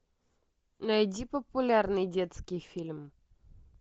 найди популярный детский фильм